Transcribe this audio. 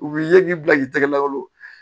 U b'i ye k'i bila k'i tɛgɛ lagolo